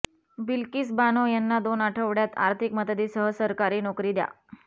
बिल्किस बानो यांना दोन आठवड्यात आर्थिक मदतीसह सरकारी नोकरी द्या